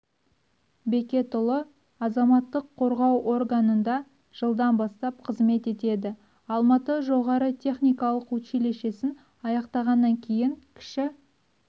бекетұлы азаматтық қорғау органында жылдан бастап қызмет етеді алматы жоғары техникалық училищесін аяқтағаннан кейін кіші